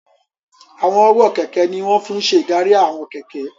Àwọn ọwọ́ kẹ̀kẹ́ ní wọ́n fi n ṣe ìdarí àwọn kẹ̀kẹ́